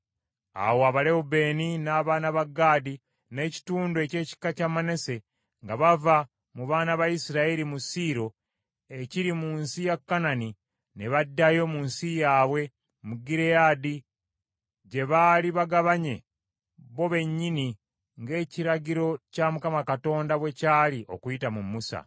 Awo Abalewubeeni n’abaana ba Gaadi n’ekitundu eky’ekika kya Manase nga bava mu baana ba Isirayiri mu Siiro ekiri mu nsi ya Kanani ne baddayo mu nsi yaabwe, mu Gireyaadi, gye baali bagabanye bo bennyini ng’ekiragiro kya Mukama Katonda bwe kyali okuyita mu Musa.